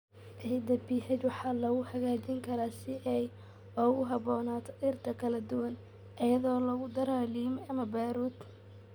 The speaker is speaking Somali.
Ciidda pH waxaa lagu hagaajin karaa si ay ugu habboonaato dhirta kala duwan iyadoo lagu darayo lime ama baaruud.